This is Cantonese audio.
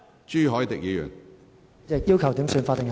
主席，我要求點算法定人數。